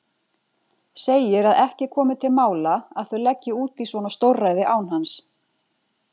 Segir að ekki komi til mála að þau leggi út í svona stórræði án hans.